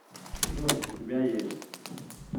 джой у тебя есть